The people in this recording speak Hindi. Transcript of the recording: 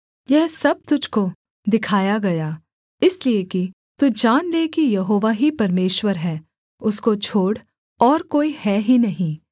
यह सब तुझको दिखाया गया इसलिए कि तू जान ले कि यहोवा ही परमेश्वर है उसको छोड़ और कोई है ही नहीं